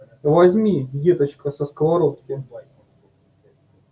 возьми деточка со сковородки